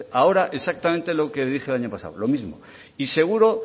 ahora exactamente lo que dije el año pasado lo mismo y seguro